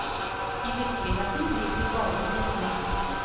I virkeligheten driver de bare med gjetning.